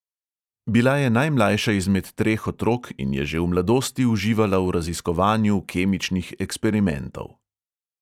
Bila je najmlajša izmed treh otrok in je že v mladosti uživala v raziskovanju kemičnih eksperimentov.